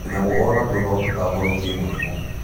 Tunyamũ onatuo no tũtambũrũkie mũrimũ